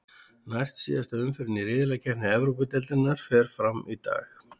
Næst síðasta umferðin í riðlakeppni Evrópudeildarinnar fer fram í dag.